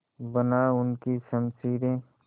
बना उनकी शमशीरें